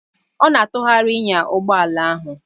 Ọ na-atụgharị enya ụgbọ ala ahụ.